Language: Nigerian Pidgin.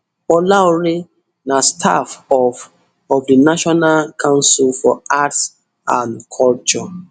olaore na staff of of di national council for arts and culture